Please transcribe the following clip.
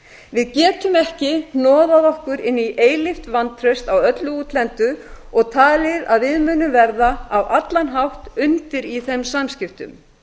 við getum ekki hnoðað okkur inn í eilíft vantraust á öllu útlendu og talið að við munum verða á allan hátt undir í þeim samskiptum